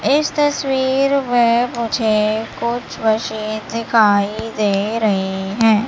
इस तस्वीर में मुझे कुछ मशीन दिखाई दे रहीं हैं।